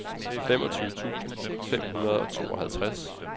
femogtyve tusind fem hundrede og tooghalvtreds